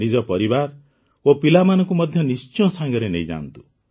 ନିଜ ପରିବାର ଓ ପିଲାମାନଙ୍କୁ ମଧ୍ୟ ନିଶ୍ଚୟ ସାଙ୍ଗରେ ନେଇଯାଆନ୍ତୁ